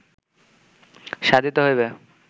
সাধিত হইবে